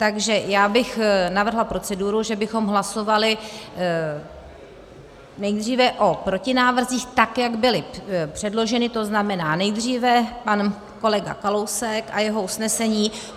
Takže já bych navrhla proceduru, že bychom hlasovali nejdříve o protinávrzích, tak jak byly předloženy, to znamená nejdříve pan kolega Kalousek a jeho usnesení.